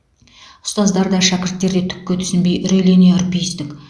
ұстаздар да шәкірттер де түкке түсінбей үрейлене үрпиістік